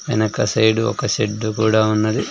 వెనక సైడు ఒక షెడ్డు కూడా ఉన్నది.